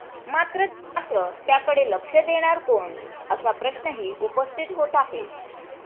मात्र त्याकडे लक्ष देणार कोण असा प्रश्नही उपस्थित होत आहे.